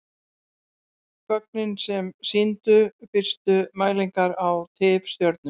Gögnin sem sýndu fyrstu mælingar á tifstjörnum.